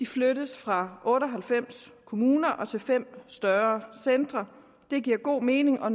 flyttes fra otte og halvfems kommuner til fem store centre det giver god mening og